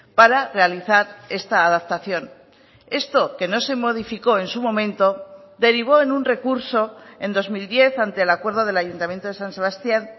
para realizar esta adaptación esto que no se modificó en su momento derivó en un recurso en dos mil diez ante el acuerdo del ayuntamiento de san sebastián